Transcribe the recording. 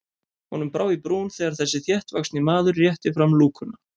Honum brá í brún þegar þessi þéttvaxni maður rétti fram lúkuna.